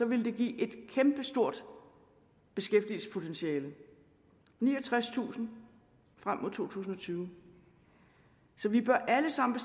ville det give et kæmpestort beskæftigelsespotentiale niogtredstusind frem mod to tusind og tyve så vi bør alle sammen